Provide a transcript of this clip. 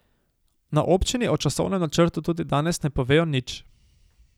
Na občini o časovnem načrtu tudi danes ne povejo nič.